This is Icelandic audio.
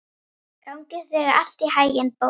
Gangi þér allt í haginn, Bót.